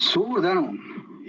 Suur tänu!